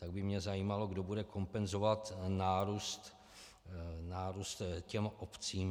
Tak by mě zajímalo, kdo bude kompenzovat nárůst těm obcím.